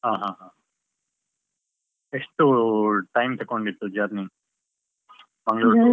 ಹ ಹ ಹ, ಎಷ್ಟು time ತಕೊಂಡಿತ್ತು journey ? ಮಂಗಳೂರು .